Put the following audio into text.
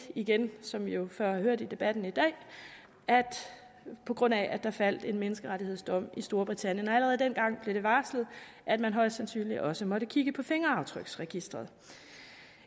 igen som vi jo før har hørt i debatten i dag på grund af at der faldt en menneskerettighedsdom i storbritannien allerede dengang blev det varslet at man højst sandsynligt også måtte kigge på fingeraftryksregisteret